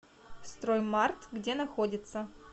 строймарт где находится